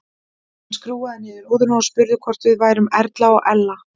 Hann skrúfaði niður rúðuna og spurði hvort við værum Erla og Ella.